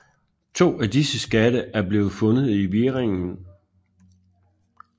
To af disse skatte er blevet fundet i Wieringen